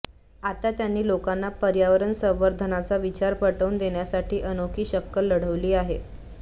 आता त्यांनी लोकांना पर्यावरण संवर्धनाचा विचार पटवून देण्यासाठी अनोखी शक्कल लढवली आहे